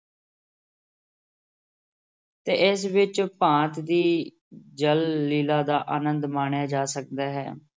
ਤੇ ਇਸ ਵਿਚ ਭਾਂਤ ਦੀ ਜਲ-ਲੀਲ੍ਹਾ ਦਾ ਆਨੰਦ ਮਾਣਿਆ ਜਾ ਸਕਦਾ ਹੈ।